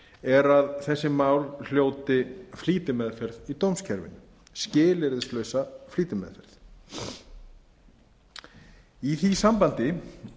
er að þessi mál hljóti flýti meðferð í dómskerfinu skilyrðislausa flýtimeðferð í því sambandi vil